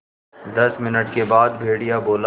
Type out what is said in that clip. दस मिनट के बाद भेड़िया बोला